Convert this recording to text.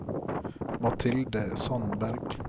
Mathilde Sandberg